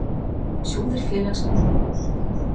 Sjóðir félagsins og ráðstöfun þeirra.